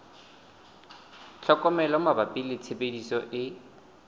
tlhokomelo mabapi le tshebediso e